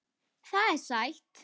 Það er sætt.